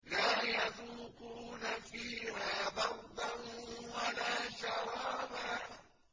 لَّا يَذُوقُونَ فِيهَا بَرْدًا وَلَا شَرَابًا